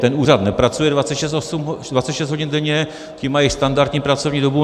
Ten úřad nepracuje 26 hodin denně, ti mají standardní pracovní dobu.